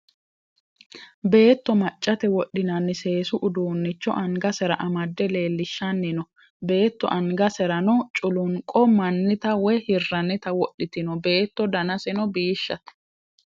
Beetto maccate wodhinanni seesu uduunnicho angasera amadde leellishanni noo. Beetto angaserano culunqo mannita woyi hirrannita wodhite no. Beetto danaseno biishshate.